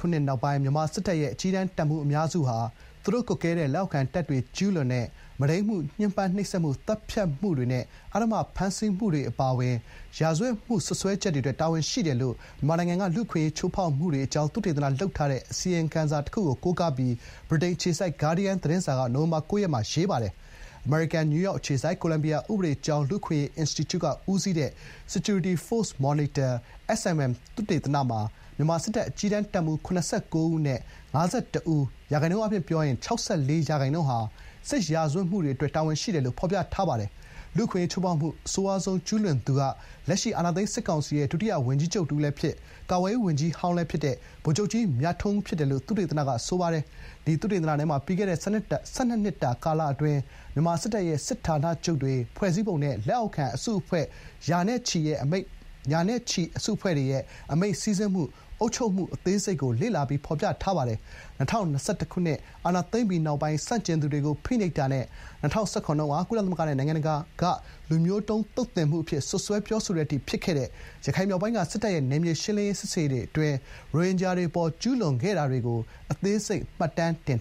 ခုနှစ်နောက်ပိုင်း မြန်မာစစ်တပ်ရဲ့ အကြီးတန်းတပ်မှူး အများစုဟာ သူတို့ ကွပ်ကဲတဲ့ လက်အောက်ခံတပ်တွေ ကျူးလွန်တဲ့ မုဒိမ်းမှု၊ ညှဉ်းပန်းနှိပ်စက်မှု၊ သတ်ဖြတ်မှုတွေနဲ့ အဓမ္မ ဖမ်းဆီးမှုတွေ အပါအဝင် ရာဇ၀တ်မှု စွပ်စွဲချက်တွေအတွက် တာဝန်ရှိတယ်လို့ မြန်မာနိုင်ငံက လူ့အခွင့်အရေးချိုးဖောက်မှုတွေ အကြောင်း သုတေသလုပ်ထားတဲ့ အစီရင်ခံစာ တခုကို ကိုးကားပြီး ဗြိတိန် အခြေစိုက် ဂါဒီးယန်းသတင်းစာက နိုဝင်ဘာ ၉ ရက်က ရေးပါတယ်။ အမေရိကန်၊ နယူးယောက် အခြေစိုက် ကိုလံဘီယာ ဥပဒေ ကျောင်း လူ့အခွင့်အရေး အင်စတီကျူက ဦးစီးတဲ့ Security Force Monitor (SFM) သုတေသနမှာ မြန်မာစစ်တပ် အကြီးတန်း တပ်မှူး ၇၉ ဦး အနက် ၅၁ ဦး၊ ရာခိုင်နှုန်းအားဖြင့် ၆၄% ဟာ စစ်ရာဇ၀တ်မှုတွေအတွက် တာဝန်ရှိတယ်လို့ ဖော်ပြထားသည်။ လူ့အခွင့်အရေး ချိုးဖောက်မှု အဆိုးရွားဆုံး ကျူးလွန်သူမှာ လက်ရှိ အာဏာသိမ်း စစ်ကောင်စီရဲ့ ဒုတိယဝန်ကြီးချုပ် တဥ◌ီးလည်းဖြစ်၊ ကာကွယ်ရေး ဝန်ကြီးဟောင်းလည်း ဖြစ်တဲ့ ဗိုလ်ချုပ်ကြီး မြထွန်းဦး ဖြစ်တယ်လို့ သုတေသနက ဆိုပါတယ်။ ဒီသုတေသနထဲမှာ ပြီးခဲ့တဲ့ ၁၂ နှစ်တာ ကာလ အတွင်း မြန်မာ စစ်တပ်ရဲ့ စစ်ဌာနချုပ်တွေ ဖွဲစည်းပုံနဲ့ လက်အောက်ခံ အစုအဖွဲ့ ရာနဲ့ချီရဲ့ အမိန့် စီးဆင်းမှု၊ အုပ်ချုပ်မှု အသေးစိတ်ကို လေ့လာ ဖော်ပြထားပါတယ်။ ၂၀၂၁ အာဏာသိမ်းပြီးနောက်ပိုင်း ဆန့်ကျင်သူတွေကို ဖိနှိပ်တာနဲ့ ၂၀၁၇ တုန်းက ကုလသမဂ္ဂနဲ့ နိုင်ငံတကာ “လူမျိုးတုံးသုတ်သင်မှု” အဖြစ် စွပ်စွဲ ပြောဆိုတဲ အထိ ဖြစ်ခဲ့တဲ့ ရခိုင်မြောက်ပိုင်းက စစ်တပ်ရဲ့ နယ်မြေ ရှင်းလင်းရေး စစ်ဆင်ရေးအတွင်း ရိုဟင်ဂျာတွေ အပေါ် ကျူးလွန်ခဲ့တာတွေကို အသေးစိတ် မှတ်တမ်းတင်